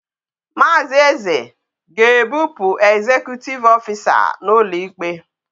Maazi eze ga ebu pu executive officer na ulo ikpe